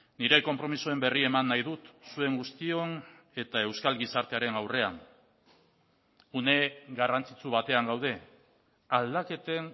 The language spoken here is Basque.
nire konpromisoen berri eman nahi dut zuen guztion eta euskal gizartearen aurrean une garrantzitsu batean gaude aldaketen